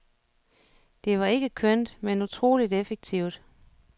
Det var ikke kønt, men utroligt effektivt.